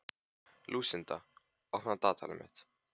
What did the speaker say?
Lúsinda, opnaðu dagatalið mitt.